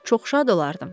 Çox şad olardım.